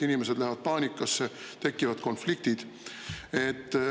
Inimesed satuvad paanikasse, tekivad konfliktid.